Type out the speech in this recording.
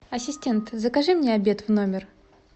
ассистент закажи мне обед в номер